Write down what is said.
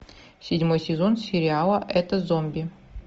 седьмой сезон сериала это зомби